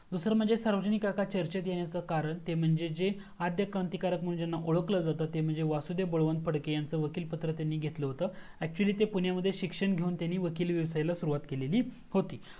दूसरा म्हणजे सार्वजनिक काका चर्चेत येनयचा कारण म्हणजे हे जे अध्य क्रांतिकारक म्हणून ज्यांना ओळखल जात ते म्हणजे वासुदेव बळवंत फडके यांचा वकील पत्र त्यांनी घेतल होत actually त्यांनी ते पुण्यामध्ये शिक्षण घेऊन वकिली व्यवसायला सुरुवात केलेली होती